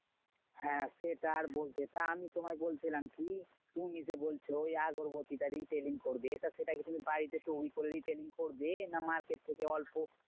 হ্যাঁ সেটা আর বলতে, তা আমি তোমায় বলছিলাম কি? তুমি যে বলছো ওই আগরবাতি টা training করবে তা সেটা কি তুমি বাড়িতে তৈরী করে retail করবে? না market থেকে অল্প